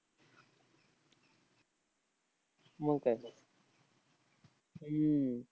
मंग काय? हम्म